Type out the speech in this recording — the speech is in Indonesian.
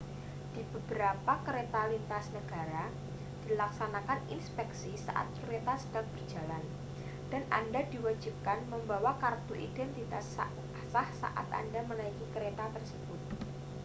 di beberapa kereta lintas negara dilaksanakan inspeksi saat kereta sedang berjalan dan anda diwajibkan membawa kartu identitas sah saat anda menaiki kereta tersebut